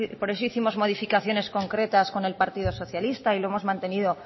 por eso hicimos modificaciones concretas con el partido socialista y lo hemos mantenido